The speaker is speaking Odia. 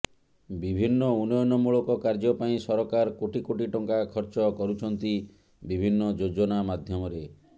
ବିଭିନ୍ନ ଉନ୍ନୟନ ମୂଳକ କାର୍ଯ୍ୟ ପାଇଁ ସରକାର କୋଟି କୋଟି ଟଙ୍କା ଖର୍ଚ୍ଚ କରୁଛନ୍ତି ବିଭିନ୍ନ ଯୋଜନା ମାଧ୍ୟମରେ